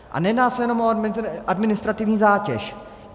A nejedná se jenom o administrativní zátěž.